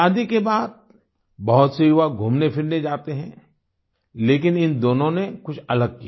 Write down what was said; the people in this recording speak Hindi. शादी के बाद बहुत से युवा घूमने फिरने जाते हैं लेकिन इन दोनों ने कुछ अलग किया